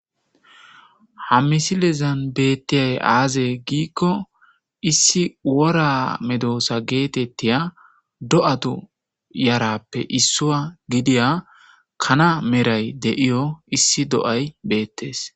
Ha misilezan beettiyay aaze giikko issi wora medoosa geetettiya do7atu yarappe issuwa gidiya kana meray de'iyo issi do7ay beettes.